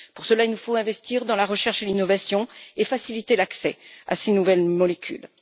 Pour cela, il faut investir dans la recherche et l'innovation et faciliter l'accès aux nouvelles molécules.